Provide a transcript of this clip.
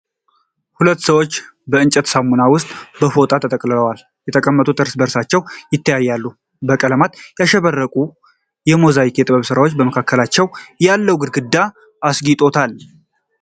ሁለት ሰዎች በእንጨት ሳውና ውስጥ በፎጣ ተጠቅልለው ተቀምጠው እርስ በእርሳቸው ይተያያሉ። በቀለማት ያሸበረቀ ሞዛይክ የጥበብ ስራ በመካከላቸው ያለውን ግድግዳ አስጊጦታል።